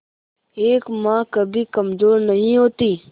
एक मां कभी कमजोर नहीं होती